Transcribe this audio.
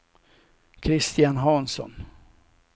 Kristian Hansson